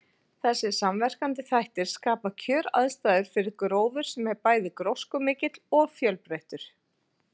Þessir samverkandi þættir skapa kjöraðstæður fyrir gróður sem er bæði gróskumikill og fjölbreyttur.